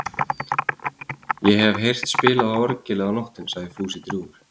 Ég hef heyrt spilað á orgelið á nóttunni sagði Fúsi drjúgur.